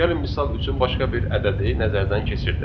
Gəlin misal üçün başqa bir ədədi nəzərdən keçirək.